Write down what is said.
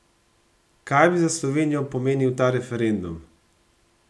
Kaj bi za Slovenijo pomenil ta referendum?